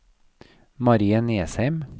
Marie Nesheim